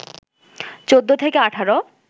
১৪ থেকে ১৮